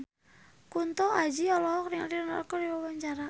Kunto Aji olohok ningali Ronaldo keur diwawancara